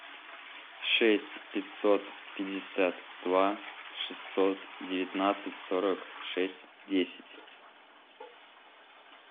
шесть пятьсот пятьдесят два шестьсот девятнадцать сорок шесть десять